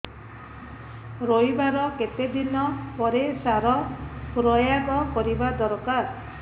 ରୋଈବା ର କେତେ ଦିନ ପରେ ସାର ପ୍ରୋୟାଗ କରିବା ଦରକାର